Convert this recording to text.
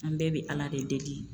An bɛɛ bɛ ala de deli